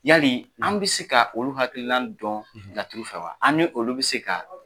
Yali an bɛ se ka olu hakililan dɔn laturu fɛ wa an ni olu bɛ se ka